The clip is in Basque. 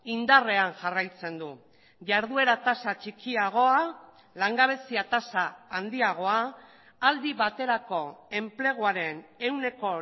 indarrean jarraitzen du jarduera tasa txikiagoa langabezia tasa handiagoa aldi baterako enpleguaren ehuneko